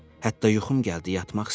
Hətta yuxum gəldi yatmaq istədim.